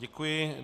Děkuji.